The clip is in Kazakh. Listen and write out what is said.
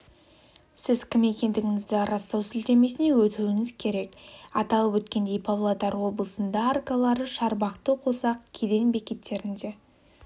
сіз кім екендігіңізді растау сілтемесіне өтуіңіз керек аталып өткендей павлодар облысында аркалары шарбақты қосақ кеден бекеттерінде